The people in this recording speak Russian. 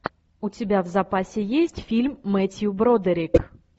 у тебя в запасе есть фильм мэттью бродерик